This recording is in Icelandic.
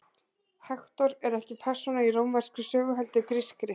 Hektor er ekki persóna í rómverskri sögu, heldur grískri.